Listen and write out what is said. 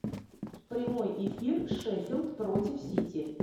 прямой эфир шеффилд против сити